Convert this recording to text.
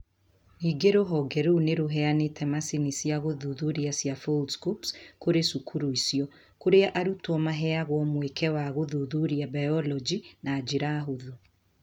Ningĩ rũhonge rũu nĩ rũheanĩte macini cia gũthuthuria cia Foldscopes kũrĩ cukuru icio, kũrĩa arutwo maheagwo mweke wa gũthuthuria biology na njĩra hũthũ.